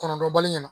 Kɔnɔntɔn bali